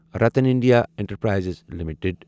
Ratan India enterprises limited